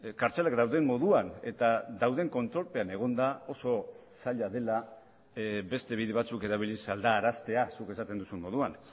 kartzelak dauden moduan eta dauden kontrolpean egonda oso zaila dela beste bide batzuk erabiliz aldaraztea zuk esaten duzun moduan